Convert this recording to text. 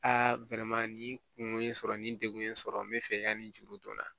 A nin kungo ye n sɔrɔ nin degun in sɔrɔ n bɛ fɛ yanni nin juru don n na